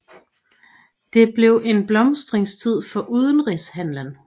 Det blev en blomstringstid for udenrigshandelen